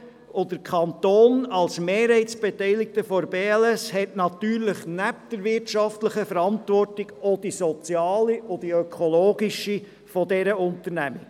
Der Kanton als Mehrheitsbeteiligter der BLS AG hat natürlich neben der wirtschaftlichen Verantwortung auch die soziale und ökologische Verantwortung für diese Unternehmung.